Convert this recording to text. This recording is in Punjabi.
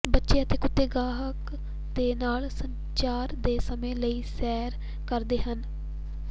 ਬੱਚੇ ਅਤੇ ਕੁੱਤੇ ਗਾਹਕ ਦੇ ਨਾਲ ਸੰਚਾਰ ਦੇ ਸਮੇਂ ਲਈ ਸੈਰ ਕਰਦੇ ਹਨ